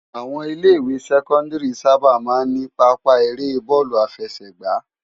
Áwòn ilè iwé sèkòndìrí sàbá má n ni pàápa éré bòlú áfèsëgbá